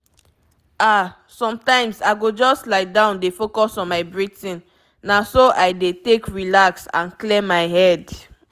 ah sometimes i go just lie down dey focus on my breathing—na so i dey take relax and clear my head.